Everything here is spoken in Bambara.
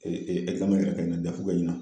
ɛkizamɛn bɛ ka kɛ ɲina kɛ ɲina.